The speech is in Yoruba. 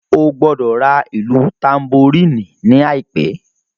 Ó gbọ́dọ̀ ra ìlù tanboríìnì ní àìpé.